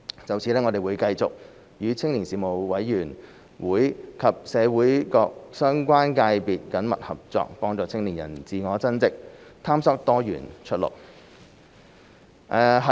就此，我們會繼續與青年事務委員會及社會各相關界別緊密合作，幫助青年人自我增值，探索多元出路。